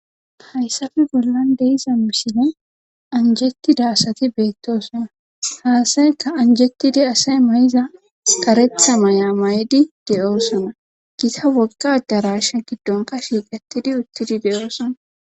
Hayssappe bollan de'iza misilen anjetida asati beetosona ha asaykka anjetidi asay mayida karetha mayuwa mayidi doosona gita woga adarashan hayssa gidonkka shiiqetidi de'osona.